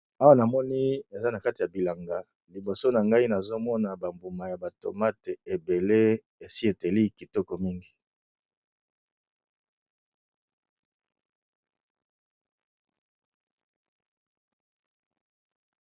Awa nazalikomona na kati ya bilanga liboso nangai nazomona ba mbuma ya ba tomates ebele ESI eteli kitoko makasi.